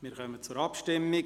Wir kommen zur Abstimmung.